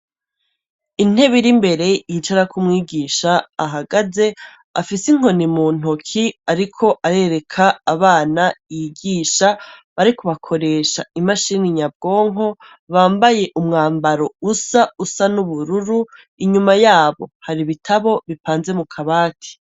Inteb iri mbere yicarakoumwigisha ahagaze afise inkoni mu ntoki, ariko arereka abana yigisha bariko bakoresha imashini nyabwonko bambaye umwambaro usa usa n'ubururu inyuma yabo hari ibitabo bipanze mu kabati.